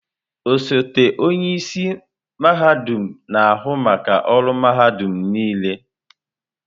Osote onye isi mahadum na-ahụ maka ọrụ mahadum niile.